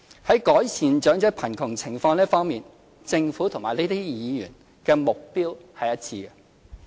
在改善長者貧窮情況這一方面，政府與這些議員目標一致。